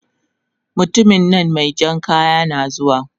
mutuminnan mejan kaya nazuwa